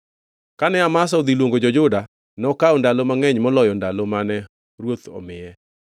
Kane Amasa odhi luongo jo-Juda nokawo ndalo mangʼeny moloyo ndalo mane ruoth omiye.